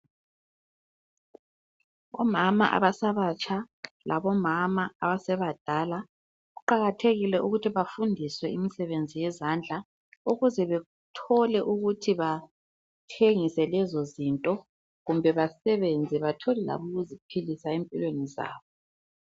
Omama abasabatsha labomama abasebebadala kuqakathekile ukuthi bafundiswe imisebenzi yezandla ukuze bathole ukuthi bathengise lezo zinto kumbe basebenze bathole labo ukuziphilisa empilweni zabo.